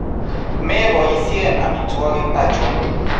Mepoisheen amitwogik achon